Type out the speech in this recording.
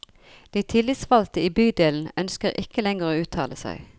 De tillitsvalgte i bydelen ønsker ikke lenger å uttale seg.